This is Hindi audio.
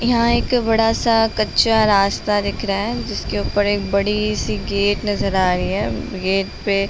यहाँ एक बड़ा सा कच्चा रास्ता दिख रहा है जिसके ऊपर एक बड़ी सी गेट नज़र आ रही है। गेट पे --